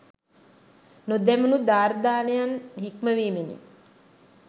නොදැමුණූ දුර්දානනයන් හික්මවීමෙහි